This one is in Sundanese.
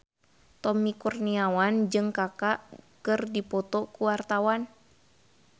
Tommy Kurniawan jeung Kaka keur dipoto ku wartawan